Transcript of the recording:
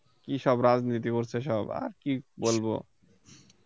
কি সব রাজনীতি করছে সব আর কি বলব